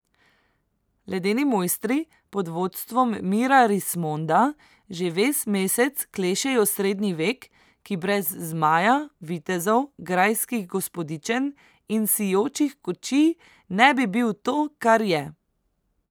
Ledeni mojstri, pod vodstvom Mira Rismonda, že ves mesec klešejo srednji vek, ki brez zmaja, vitezov, grajskih gospodičen in sijočih kočij ne bi bil to, kar je.